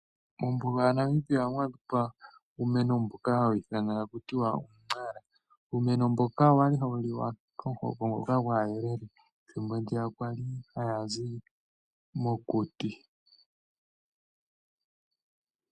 Mombuga ya Namibia ohamu adhika uumeno mboka hawu ithanwa taku tiwa uu! Nara. Uumeno mboka owali hawu liwa komuhoko ngoka gwaayelele ethimbo ndiya kwali haya zi mokuti.